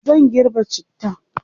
zan girbe cittan